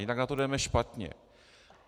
Jinak na to jdeme špatně.